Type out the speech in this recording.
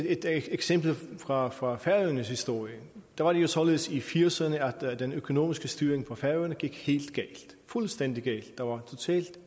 et eksempel fra fra færøernes historie det var jo således i nitten firserne at den økonomiske styring på færøerne gik fuldstændig galt der var